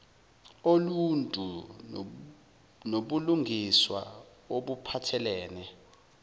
oluntu nobulungiswa obuphathelene